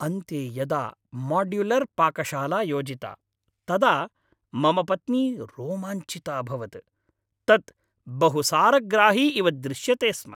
अन्ते यदा माड्युलर् पाकशाला योजिता तदा मम पत्नी रोमाञ्चिता अभवत्, तत् बहुसारग्राही इव दृश्यते स्म!